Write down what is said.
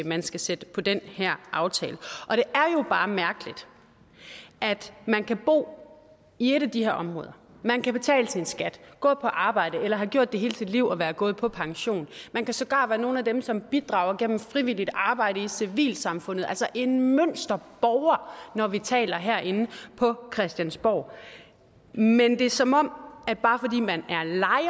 man skal sætte på den her aftale og bare mærkeligt at man kan bo i et af de her områder man kan betale sin skat gå på arbejde eller have gjort det hele sit liv og være gået på pension man kan sågar være nogle af dem som bidrager gennem frivilligt arbejde i civilsamfundet altså en mønsterborger når vi taler herinde på christiansborg men det er som om at bare fordi man